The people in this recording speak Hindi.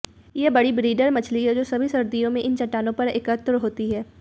ये बड़ी ब्रीडर मछली हैं जो सभी सर्दियों में इन चट्टानों पर एकत्र होती हैं